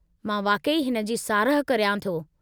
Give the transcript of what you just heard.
मां वाक़ई हिन जी साराहु करियां थो।